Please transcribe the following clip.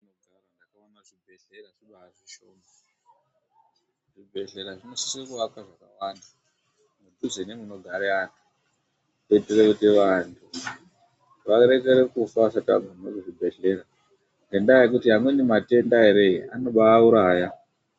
Zvibhehlera zvinosisa kuakwe mudhuze nemunogare anthu. Kuitire kuti vanthu varekere kufa asati agume kuchibhedhlera Ngendaa yekuti amweni matenda ere, anobaauraya.